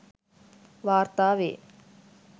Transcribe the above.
වාර්තා වේ